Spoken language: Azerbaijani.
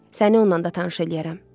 Səni onunla da tanış eləyərəm.